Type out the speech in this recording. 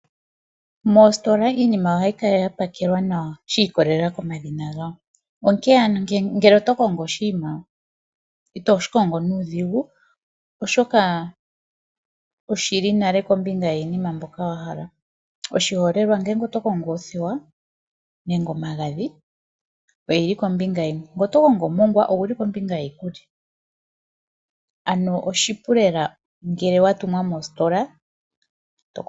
Mositola iinima ohayi kala ya pakelwa nawa shi ikolelela komadhina gawo, onkene ano ngele oto kongo oshinima ito shi kongo nuudhigu oshoka oshili nale kombinga yiinima mboka wa wala. Oshiholelwa ngele oto kongo othewa nenge omagadhi, oyili kombinga yimwe. Ngele oto kongo omongwa, oguli kombinga yiikulya. Ano oshipu lela ngele wa tumwa mositola.